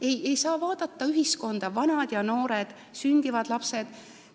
Nii et ei saa vaadata ühiskonda nii, et on vanad ja noored ja veel sündivad lapsed.